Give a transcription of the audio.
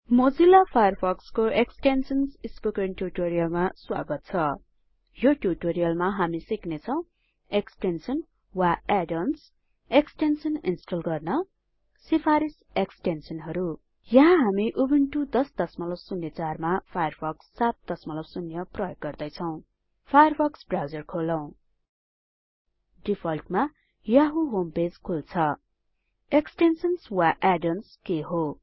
Mozilla फायरफक्सको extensions spoken ट्युटोरियलमा स्वागत छ यो ट्युटोरियलमा हामी सिक्ने छौं एक्सटेन्सन वा एड अन्स एक्सटेन्सन इन्स्टल गर्न सिफारिस एक्सटेन्सनहरु यहाँ हामी उबुन्टु १००४ मा फायरफक्स ७० प्रयोग गर्दैछौं फायरफक्स ब्राउजर खोलौ डिफल्टमा यहू होम पेज खुल्छ एक्सटेन्सन वा add ओएनएस के हो